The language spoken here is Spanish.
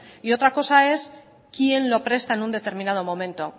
y otra cosa es quién lo presta en un determinado momento